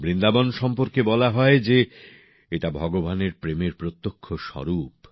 বৃন্দাবন প্রসঙ্গে বলা হয় যে এটা ভগবানের প্রেমের প্রত্যক্ষ স্বরূপ